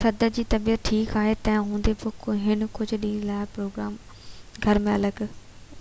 صدر جي طبيعت ٺيڪ آهي تنهن هوندي بہ هي ڪجهہ ڏينهن جي لاءِ گهر ۾ الڳ رهندو